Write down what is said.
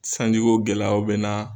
Sanji ko gɛlɛyaw bɛna